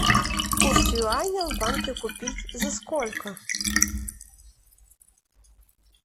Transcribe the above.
курс юаня в банке купить за сколько